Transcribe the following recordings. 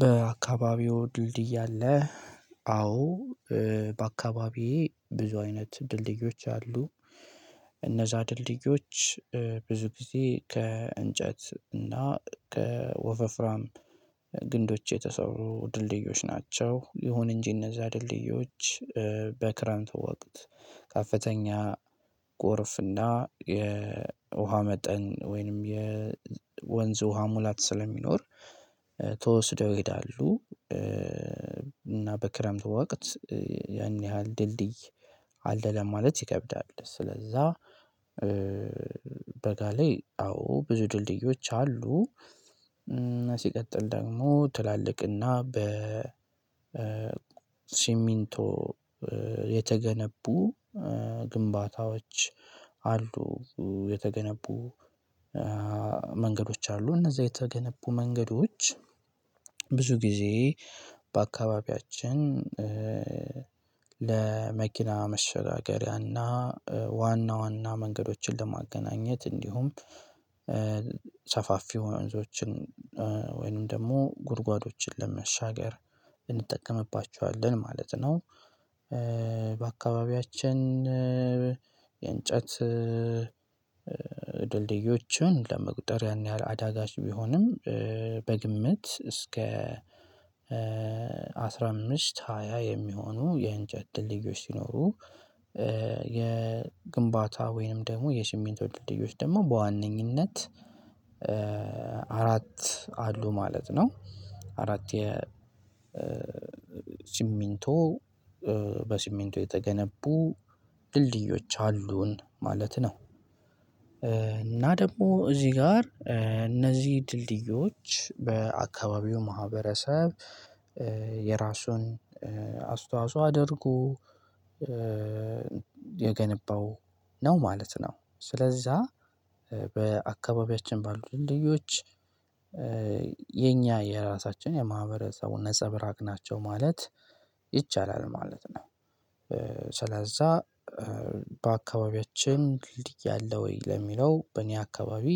በአካባቢው ድልድይ አለ። አዎ በአካባቢዬ ብዙ አይነት ድልድዮች አሉ፤ እነዛ ድልድዮች ብዙ ጊዜ ከእንጨት እና ከወፋፍራም ግንዶች የተሰሩ ድልድዮች ናቸው። ይሁን እንጂ እነዛ ድልድዮች በክረምት ወቅት ከፍተኛ ጎርፍና የውሃ መጠን ወይንም የወንዝ ውሃ ሙላት ስለሚኖር ተወስደው ይሄዳሉ። እና በክረምቱ ወቅት ያን ያህል ድልድይ አለ ለማለት ይከብዳል። ስለዛ በጋ ላይ አዎ ብዙ ድልድዮች አሉ፤ ሲቀጥል ደግሞ ትላልቅና በ ሲሚንቶ የተገነቡ ግንባታዎች አሉ። የተገነቡ መንገዶች አሉ እነዛ የተገነቡ መንገዶች ብዙ ጊዜ በአካባቢያችን ለመኪና መሸጋገሪያና ዋና ዋና መንገዶችን ለማገናኘት እንዲሁም ሰፋፊ ወንዞችን ወይንም ደግሞ ጉድጓዶችን ለመሻገር እንጠቀምባቸዋለን ማለት ነው፤ በአካባቢያችን የእንጨት ድልድዮችን ለመቁጠር ያን ያህል አዳጋች ቢሆንም በግምት እስከ አስራ አምስት ሃያ የሚሆኑ የእንጨት ድልድዮች ሲኖሩ። የግንባታ ወይንም ደግሞ የስሚንቶ ወይንም ድልድዮች ደግሞ በዋነኝነት አራት አሉ ማለት ነው። አራት የ ሲሚንቶ በሲሚንቶ የተገነቡ ድልድዮች አሉን ማለት ነው። እና ደግሞ እዚህ ጋር እነዚህ ድልድዮች በአካባቢው ማህበረሰብ የራሱን አስተዋጽኦ አድርጎ የገነባው ነው ማለት ነው። ስለዛ በአካባቢያችን ባሉት ድልድዮች የኛ የራሳችን የማህበረሰቡን ነፀብራቅ ናቸው ማለት ይቻላል ማለት ነው፤ ስለዛ በአካባቢያችን ድልድይ አለ ወይ ለሚለው በእኔ አካባቢ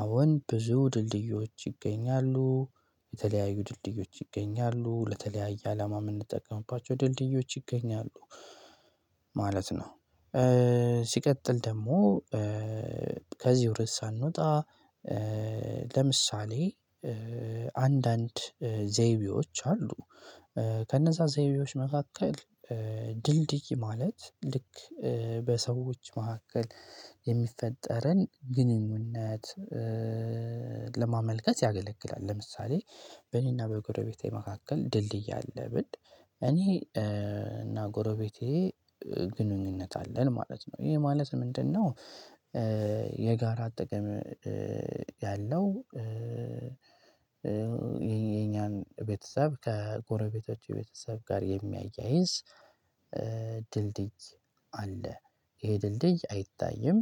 አሁን ብዙ ድልድዮች ይገኛሉ የተለያዩ ድልድዮች ይገኛሉ ለተለያየ አላማ የምንጠቀምባቸው ድልድዮች ይገኛሉ ማለት ነው። ሲቀጥል ደግሞ ከዚህ ርዕስ ሳንወጣ ለምሳሌ አንዳንድ ዘይቤዎች አሉ። ከነዛ ዘይቤዎች መካከል ድንድይ ማለት ልክ በሰዎች መካከል የሚፈጠርን ግንኙነት ለማመልከት ያገለግላል፤ ለምሳሌ በእኔና በጎረቤቴ መካከል ድልድይ አለ ብል እኔና እና ጎረቤቴ ግንኙነት አለን ማለት ነው። ይሄ ማለት ምንድነው? የጋራ አጠቃላይ ያለው የኛን ቤተሰብ ከጎረቤቶች ቤተሰብ ጋር የሚያያይዝ ድልድይ አለ። ይሄ ድልድይ አይታይም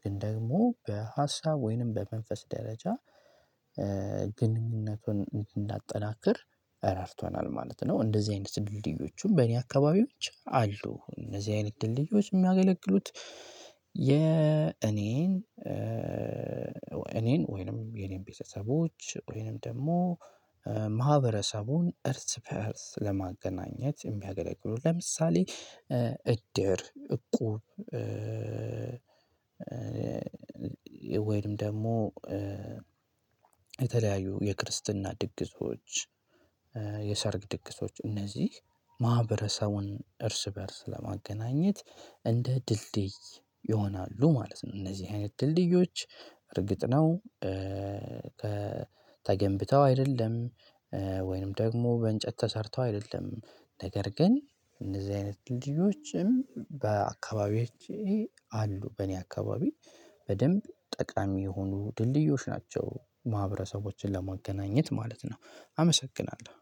ግን ደግሞ በሀሳብ ወይንም በመንፈስ ደረጃ ግንኙነቱን እንዳጠናክር ረድቷናል ማለት ነው። እንደዚህ አይነት ድልድዮቹም በእኔ አካባቢዎች አሉ። እነዚህ አይነት ድልድዮች የሚያገለግሉት የእኔን እኔን ወይንም የኔን ቤተሰቦች ወይንም ደግሞ ማህበረሰቡን እርስ በእርስ ለማገናኘት የሚያገለግሉ ለምሳሌ እድር እቁብ። ወይንም ደግሞ የተለያዩ የክርስትና ድግሶች የሰርግ ድግሶች እነዚህ ማህበረሰቡን እርስ በእርስ ለማገናኘት እንደ ድልድይ ይሆናሉ ማለት ነው። እነዚህ አይነት ድልድዮች እርግጥ ነው። ተገንብተው አይደለም ወይንም ደግሞ በእንጨት ተሰርተው አይደለም ነገር ግን እንደዚህ አይነት ድልድዮችም በአካባቢዎች አሉ። በእኔ አካባቢ በደንብ ጠቃሚ የሆኑ ድልድዮች ናቸው ማህበረሰቦችን ለማገናኘት ማለት ነው። አመሰግናለሁ፤